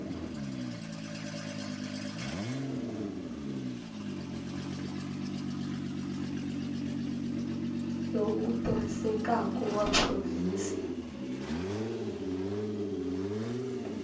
lowu wu tirhisekaku wa provhinsi